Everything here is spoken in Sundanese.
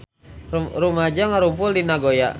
Rumaja ngarumpul di Nagoya